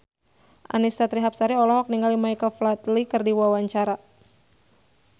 Annisa Trihapsari olohok ningali Michael Flatley keur diwawancara